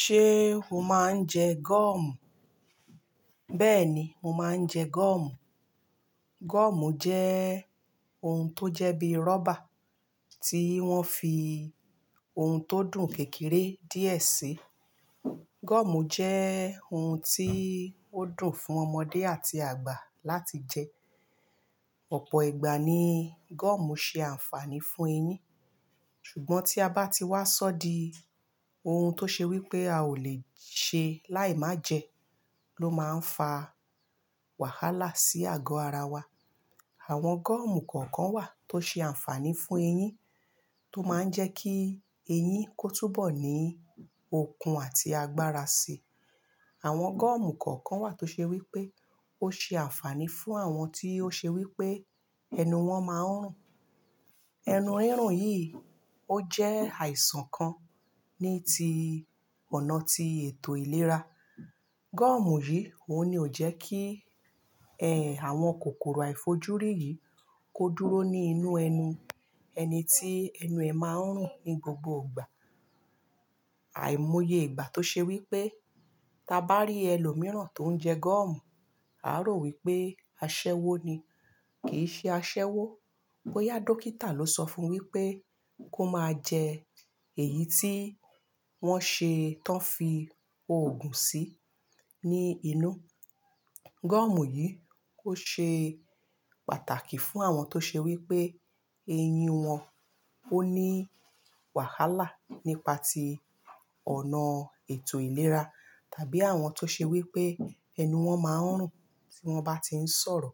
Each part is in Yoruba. Ṣé o máa ń jẹ gọ́ọ̀mù? Bẹ́ẹ̀ni, mo máa ń jẹ gọ́ọ̀mù. Gọ́ọ̀mù jẹ́ ohun tó jẹ́ bí rọ́bà tí wọ́n fi ohun tó dùn kékeré díẹ̀ sí. Gọ́ọ̀mù jẹ́ ohun tí ó dùn fún ọmọdé àti àgbà láti jẹ. Ọ̀pọ̀ ìgbà ni gọ́ọ̀mù ṣe àǹfààní fún eyín, ṣùgbọ́n tí a bá ti wá sọ́ di ohun tó ṣe wí pé a ò lè ṣe láì má jẹ, ló máa ń fa wàhálà sí àgọ́ ara wa. Àwọn gọ́ọ̀mù kọ̀ọ̀kan wà tó ṣe àǹfààní fún eyín, tó máa ń jẹ́ kí eyín kó túbọ̀ ní okun àti agbára sí i. Àwọn gọ́ọ̀mù kọ̀ọ̀kan wà tó ṣe wí pé ó ṣe àǹfààní fún àwọn tí ó ṣe wí pé ẹnu wọn máa ń rùn. Ẹnu rírun yìí ó jẹ́ àìsàn kan ni ti ọ̀nà tí ètò ìlera. Gọ́ọ̀mù yìí òun ni ó jẹ́ kí, àwọn kòkòrò àìfojúrí yìí kó dúró ní inú ẹnu ẹni tí ẹnu ẹ̀ máa ń rùn ní gbogbo ìgbà. Àìmọye ìgbà tó ṣe wí pé, tí a bá rí ẹlòmíràn tó ń jẹ gọ́ọ̀mù, a ó rò wí pé aṣẹ́wó ni. Kì í ṣe aṣẹ́wó, bóyá dókítà ló sọ fún wí pé kó máa jẹ èyí tí wọ́n ṣe, tán fi òògùn sí ní inú. Gọ́ọ̀mù yìí ó ṣe pàtàkì fún àwọn tó ṣe wí pé eyín wọn ó ní wàhálà nípa ti ọ̀nà ètò ìlera, tàbí àwọn tó ṣe wí pé ẹnu wọn máa ń rùn tí wọ́n bá ti ń sọ̀rọ̀.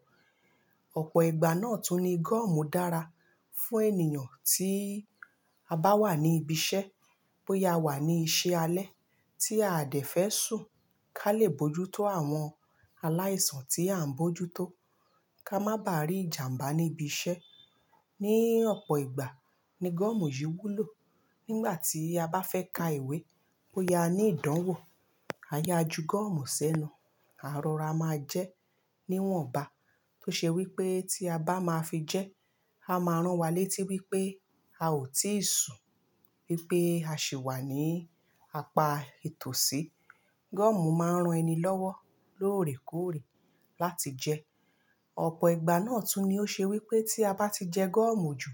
Ọ̀pọ̀ ìgbà náà tún ni gọ́ọ̀mù dára fún ènìyàn tí a bá wà ní ibi iṣẹ́, bóyá a wà ní iṣẹ́ alẹ́ tí a dẹ̀ fẹ́ sùn ká lè bojútó àwọn aláìsàn tí à ń bojútó, ká má bà rí ìjàmbá níbi iṣẹ́. Ni ọ̀pọ̀ ìgbà ni gọ́ọ̀mù yìí wúlò. Nígbà tí a bá fẹ́ ka ìwé, bóyá ní ìdánwò, a yá ju gọ́ọ̀mù sẹ́nu, àárọ̀ ara máa jẹ́ níwọ̀nba tó ṣe wí pé tí a bá máa fi jẹ́, a máa rán wa létí wí pé a ò tíì sùn, wí pé a sì wà ní apá itòsí. Gọ́ọ̀mù máa ń ran ẹni lọ́wọ́ lóòrèkóòrè láti jẹ. Ọ̀pọ̀ ìgbà náà tún ni ó ṣe wí pé tí a bá ti jẹ gọ́ọ̀mù jù,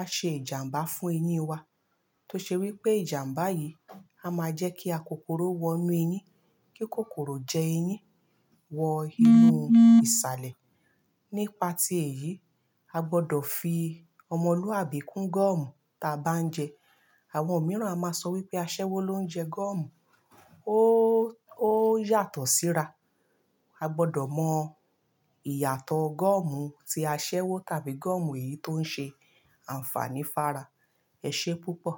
a ṣe ìjàmbá fún eyín wa tó ṣe wí pé ìjàmbá yìí á máa jẹ́ kí akòkòrò wọ inú eyín, kí kòkòrò jẹ eyín, wọ inú ìsàlẹ̀. Nípa ti èyí, a gbọ́dọ̀ fi ọmọlúwàbí kún gọ́ọ̀mù tí a bá ń jẹ. Àwọn mìíràn a máa sọ wí pé aṣẹ́wó ló ń jẹ gọ́ọ̀mù ó, ó yàtọ̀ síra. A gbọ́dọ̀ mọ ìyàtọ̀ gọ́ọ̀mù tí aṣẹ́wó tàbí gọ́ọ̀mù èyí tó ń ṣe àǹfààní fara. Ẹ ṣé púpọ̀.